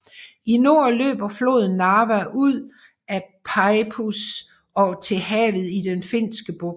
I nord løber floden Narva ud af Peipus og til havet i Den Finske Bugt